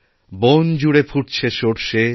বন জুড়ে ফুটছে সর্ষে